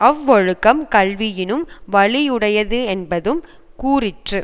அவ்வொழுக்கம் கல்வியினும் வலி யுடையதும் கூறிற்று